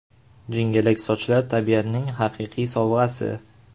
Jingalak sochlar – tabiatning haqiqiy sovg‘asi.